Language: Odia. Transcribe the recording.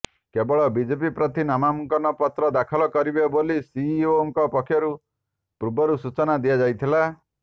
କେବଳ ବିଜେଡି ପ୍ରାର୍ଥୀ ନାମାଙ୍କନପତ୍ର ଦାଖଲ କରିବେ ବୋଲି ସିଇଓଙ୍କ ପକ୍ଷରୁ ପୂର୍ବରୁ ସୂଚନା ଦିଆଯାଇଥିଲା